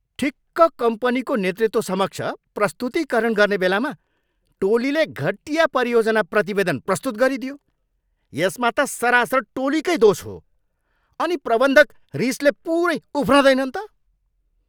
ठिक्क कम्पनीको नेतृत्वसमक्ष प्रस्तुतीकरण गर्ने बेलामा टोलीले घटिया परियोजना प्रतिवेदन प्रस्तुत गरिदियो। यसमा त सरासर टोलीकै दोष हो। अनि प्रबन्धक रिसले पुरै उफ्रँदैनन् त?